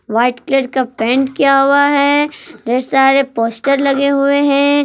White colour का paint किया हुआ है ढेर सारे पोस्टर लगे हुए हैं।